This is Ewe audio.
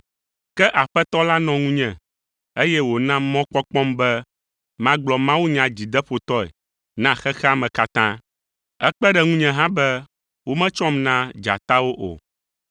Ke Aƒetɔ la nɔ ŋunye, eye wòna mɔkpɔkpɔm be magblɔ mawunya dzideƒotɔe na xexea me katã. Ekpe ɖe ŋunye hã be wometsɔm na dzatawo o.